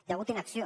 hi ha hagut inacció